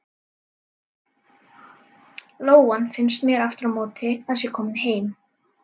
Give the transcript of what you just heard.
Lóan finnst mér aftur á móti að sé komin heim.